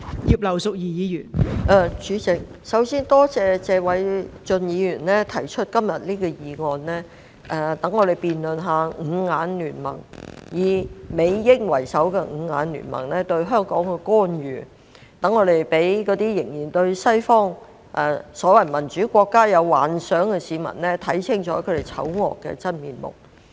代理主席，首先多謝謝偉俊議員今天提出這項議案，讓我們辯論以美英為首的"五眼聯盟"對香港官員......讓那些仍然對西方所謂民主國家有幻想的市民，看清楚他們醜惡的真面目。